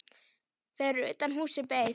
Fyrir utan húsið beið